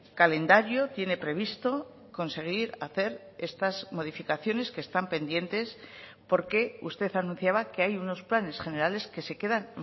calendario tiene previsto conseguir hacer estas modificaciones que están pendientes porque usted anunciaba que hay unos planes generales que se quedan